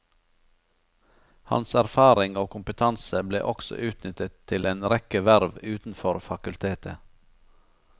Hans erfaring og kompetanse ble også utnyttet til en rekke verv utenfor fakultetet.